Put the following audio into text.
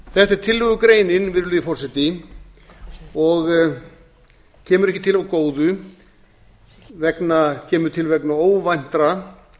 er tillögugreinin virðulegi forseti og kemur til ekki af góðu kemur til vegna óvæntra